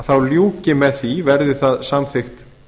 þá ljúki með því verði það samþykkt